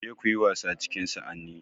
Ku je kuyi wasa cikin sa'anni